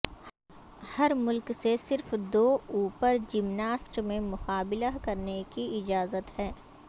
ہر ملک سے صرف دو اوپر جمناسٹ میں مقابلہ کرنے کی اجازت ہے